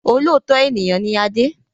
Olóòótọ́ ènìyàn ni Adé